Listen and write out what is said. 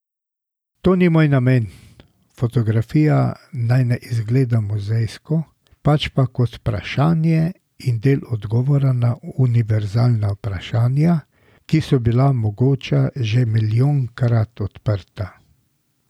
To ni moj namen, fotografija naj ne izgleda muzejsko, pač pa kot vprašanje in del odgovora na univerzalna vprašanja, ki so bila mogoče že milijonkrat odprta.